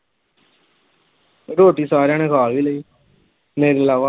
ਰੋਟੀ ਸਾਰਿਆਂ ਨੇ ਖਾ ਵੀ ਲਈ ਮੇਰੇ ਇਲਾਵਾ।